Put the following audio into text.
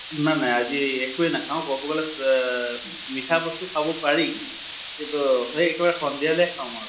না না আজি একোয়ে নাখাওঁ, কʼব গʼলে এহ মিঠা বস্তু খাব পাৰি। সেই একেবাৰে সন্ধিয়ালৈ খাম আৰু।